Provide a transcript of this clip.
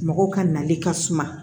Mɔgɔw ka nali ka suma